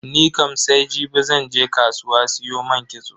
Nikam sai jibi zan je kasuwa siyo man kitso.